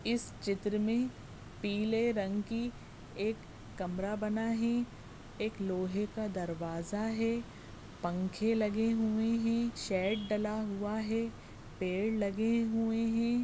इस चित्र मे पीले रंग कि एक कमरा बना है एक लोहे का दरवाजा है पंखे लगे हुए है शेड डला हुआ है पेड़ लगे हुए है।